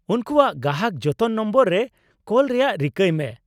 ᱩᱱᱠᱩᱣᱟᱜ ᱜᱟᱦᱟᱠ ᱡᱚᱛᱚᱱ ᱱᱚᱢᱵᱚᱨ ᱨᱮ ᱠᱚᱞ ᱨᱮᱭᱟᱜ ᱨᱤᱠᱟᱹᱭ ᱢᱮ ᱾